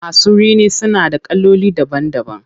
Masu rini suna da kaloli daban daban.